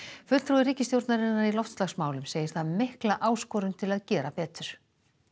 fulltrúi ríkisstjórnarinnar í loftslagsmálum segir það mikla áskorun til að gera betur